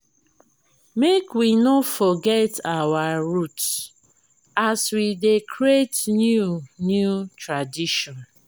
make we no forget our root as we dey create new new tradition.